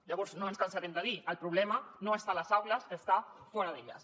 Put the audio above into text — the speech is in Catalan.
llavors no ens cansarem de dir el problema no està a les aules està fora d’elles